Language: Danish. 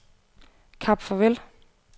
Kap Farvel